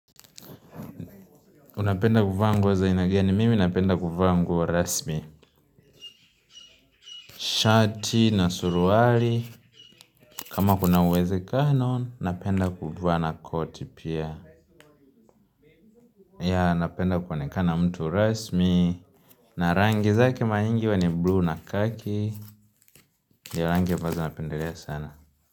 Unapenda kuvaaa nguo za aina ni gani, mimi napenda kuvaa nguo rasmi. Shati na suruali. Kama kuna uwezekano, napenda kuvaa na koti pia. Ya, napenda kuonekana mtu rasmi. Na rangi zake mara nyingi huwa ni bluu na khaki ni rangi ambazo napendelea sana.